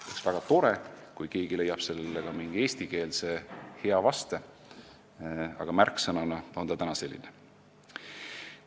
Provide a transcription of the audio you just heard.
Oleks väga tore, kui keegi leiaks sellele ka hea eestikeelse vaste, aga märksõna on praegu selline.